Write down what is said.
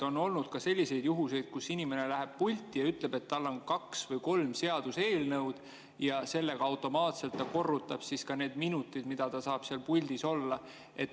On olnud selliseid juhuseid, kus inimene läheb pulti ja ütleb, et tal on kaks või kolm seaduseelnõu, ja siis ta automaatselt korrutab ka need minutid, mis ta saab seal puldis olla.